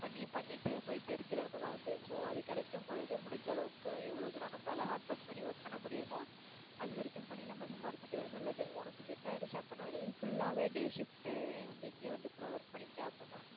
பண்ணி பண்ணிட்டு போயிட்டே இருக்குறதுல வந்து so அது கிடைக்கும் போது முடிஞ்ச அளவுக்கு எவ்ளோ தூரம் நம்மளால hardwork பண்ணி work பண்ணமுடியுமோ அது வரைக்கும் பண்ணி நம்ம சம்பாரிச்சிக்கிறது நல்லது. உனக்கு set ஆகிடுச்சு அப்டினா நீ full லாவே day shift ஏ வந்து இங்க வந்து கூட work பண்ணிகிட்ட அப்படின்னா